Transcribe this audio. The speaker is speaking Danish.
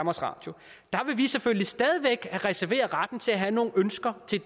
radio der vil vi selvfølgelig stadig væk reservere retten til at have nogle ønsker til